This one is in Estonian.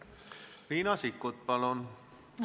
Riina Sikkut, palun!